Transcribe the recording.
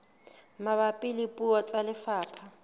mabapi le puo tsa lefapha